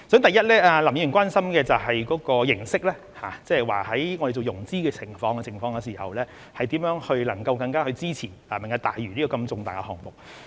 第一，林議員關心的就是形式，即在我們進行融資時，如何能夠更加支持"明日大嶼"這如此重大的項目。